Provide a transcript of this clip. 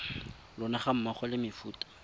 lona ga mmogo le mefuta